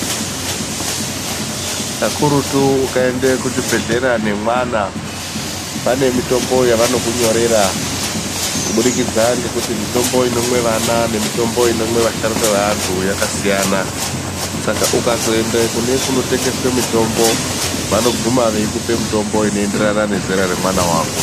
Kakurutu ukaende kuchibhedhlera nemwana, pane mitombo yavanokunyorera kuburikidza ngekuti mitombo inomwe vana nemitombo inomwe vasharuka veantu yakasiyana. Saka ukazoende kune kunotengeswe mitombo, vanogume veikupe mitombo inoenderana nezera remwana wako.